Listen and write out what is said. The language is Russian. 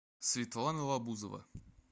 светлана лабузова